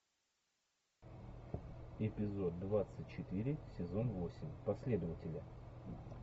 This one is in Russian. эпизод двадцать четыре сезон восемь последователи